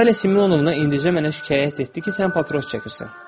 Natalya Simyonovna indicə mənə şikayət etdi ki, sən papiros çəkirsən.